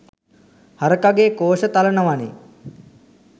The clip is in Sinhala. හරකගේ කෝෂ තලනවනේ